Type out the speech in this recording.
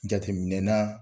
Jateminɛna